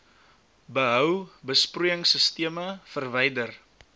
behou besproeiingsisteme verwyder